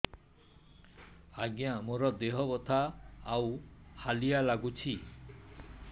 ଆଜ୍ଞା ମୋର ଦେହ ବଥା ଆଉ ହାଲିଆ ଲାଗୁଚି